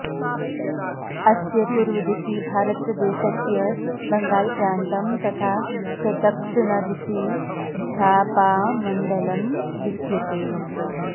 अस्य पूर्वदिशि भारतदेशस्य बंगालप्रान्तं तथा च दक्षिणदिशि झापामण्डलम् विद्येते